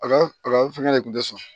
A ka a ka fɛngɛ de tun tɛ sɔn